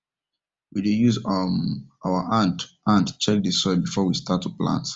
we dey use um our hand hand check the soil before we start to plant